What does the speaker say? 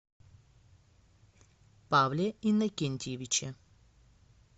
павле иннокентьевиче